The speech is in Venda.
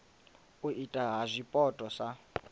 u itwa ha zwipotso sa